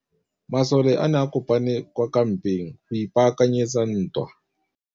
Masole a ne a kopane kwa kampeng go ipaakanyetsa ntwa.